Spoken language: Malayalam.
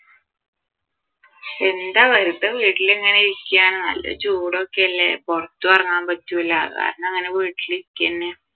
എന്താ വെറുതെ വീട്ടിലിങ്ങനെ ഇരിക്കാണ് നല്ല ചൂട് ഒക്കെയല്ലേ പുറത്തും ഇറങ്ങാൻ പറ്റൂല അതുകാരണം അങ്ങനെ വീട്ടിൽ ഇരിക്കുക തന്നെ